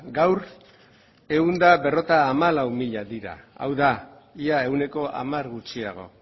gaur ehun eta berrogeita hamalau mila dira hau da ia ehuneko hamar gutxiago